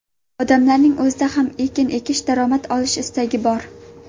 Odamlarning o‘zida ham ekin ekish, daromad olish istagi bor.